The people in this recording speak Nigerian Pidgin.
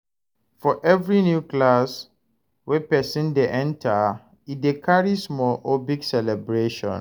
For every new class wey persin de enter e de carry small or big celebration